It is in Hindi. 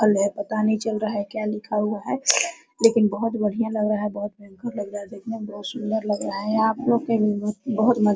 पता नही चल रहा है क्या लिखा हुआ है लेकिन बहुत बढ़िया लग रह रहा है बहुत भयंकरलग रहा है देखने में बहुत सुन्दर लग रहा है आपको के लिए बहुत मन --